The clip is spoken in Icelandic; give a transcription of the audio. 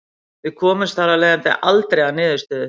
Við komumst þar af leiðandi aldrei að niðurstöðu.